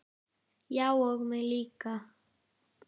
Já og mig líka.